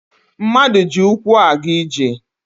Mmadụ ji ụkwụ a ga-ije